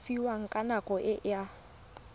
fiwang ka nako e a